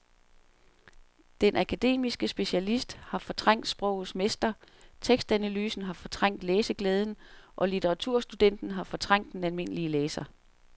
Den akademiske specialist har fortrængt sprogets mester, tekstanalysen har fortrængt læseglæden og litteraturstudenten har fortrængt den almindelige læser.